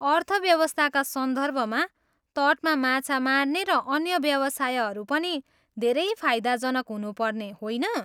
अर्थव्यवस्थाका सन्दर्भमा, तटमा माछा मार्ने र अन्य व्यवसायहरू पनि धेरै फाइदाजनक हुनुपर्छ, होइन?